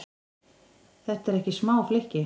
Þetta eru ekki smá flykki?